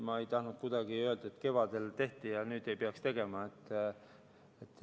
Ma ei tahtnud öelda, et kevadel tehti ja nüüd ei peaks tegema.